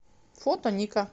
фото ника